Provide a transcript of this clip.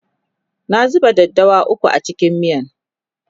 na zuba daddawa ukwu a cikin miyan